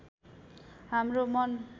हाम्रो मन